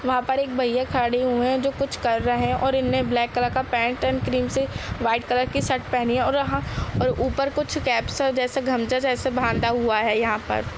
वहाँ पर एक भैया खड़े हुए हैं जो कुछ कर रहे हैं और इनने ब्लैक कलर का पैन्ट एण्ड क्रीम सी वाईट कलर की शर्ट पहनी है और हाँ और ऊपर कुछ कैप सा जैसा गमछा जैसा बांधा हुआ है यहाँ पर।